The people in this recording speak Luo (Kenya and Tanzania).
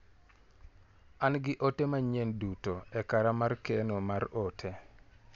An gi ote manyien duto e kara mar keno mar ote.